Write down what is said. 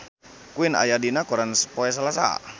Queen aya dina koran poe Salasa